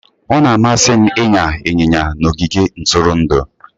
Ọ na-amasị m ịnya ịnyịnya na ogige ntụrụndụ